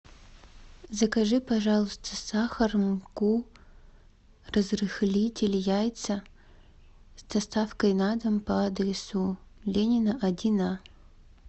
закажи пожалуйста сахар муку разрыхлитель яйца с доставкой на дом по адресу ленина один а